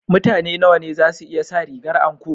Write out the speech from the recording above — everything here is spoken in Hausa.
Mutane nawa ne za su iya sa rigar anko?